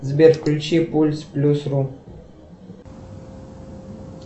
сбер включи пульс плюс рум